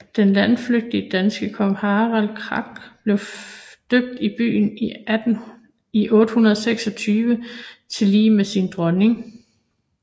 Den landflygtige danske konge Harald Klak blev døbt i byen i 826 tillige med sin dronning